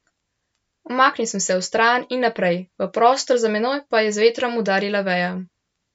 Umaknil sem se vstran in naprej, v prostor za menoj pa je z vetrom udarila veja.